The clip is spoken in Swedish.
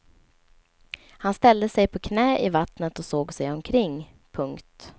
Han ställde sig på knä i vattnet och såg sig omkring. punkt